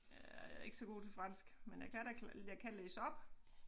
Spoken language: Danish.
Jeg er ikke så god til fransk men jeg kan da jeg kan læse op